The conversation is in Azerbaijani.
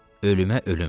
Ölümə ölüm.